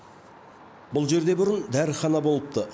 бұл жерде бұрын дәріхана болыпты